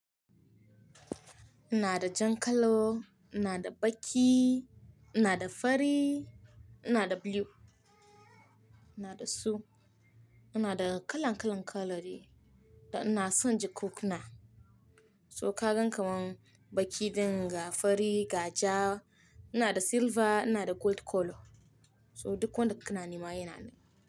Ina da jan kalo, ina da baƙi, ina da fari, ina da blue, ina da su, ina da kalan kalan kaloli da ina son ji kukuna. To ka gan kamar baƙi dinga, fari, gaja, ina da silva, ina da gold colour. So duk wanda kana nima yana nan.